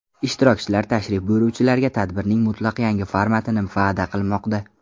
Ishtirokchilar tashrif buyuruvchilarga tadbirning mutlaq yangi formatini va’da qilmoqda.